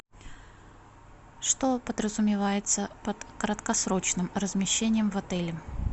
что подразумевается под краткосрочным размещением в отеле